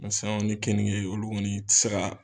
Mɛ saɲɔ ni kenige olu kɔni i tɛ se ka